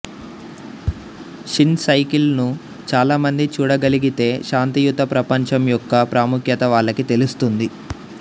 Shin cycle ను చాలా మంది చూడగలిగితే శాంతియుత ప్రపంచం యొక్క ప్రాముఖ్యత వాళ్ళకి తెలుస్తుంది